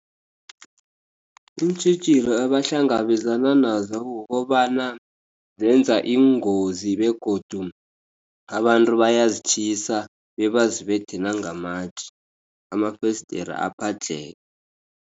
Iintjhijilo abahlangabezana nazo kukobana zenza iingozi begodu abantu bayazitjhisa, bebaziphethe nangamatje, amafesidiri aphadlheke.